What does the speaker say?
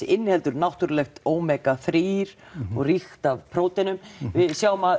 inniheldur náttúrulegt Omega þrjú og ríkt af próteinum við sjáum að